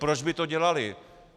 Proč by to dělaly?